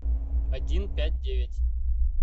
один пять девять